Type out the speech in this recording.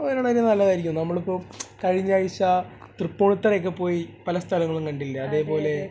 ഒരാനൊരു നല്ലതായിരിക്കും നമ്മൾ ഇപ്പോ കഴിഞ്ഞ ആഴ്ച തൃപ്പൂണിത്തറ ഒക്കെ പോയി പല സ്ഥലങ്ങളും കണ്ടില്ലേ അതേപോലെ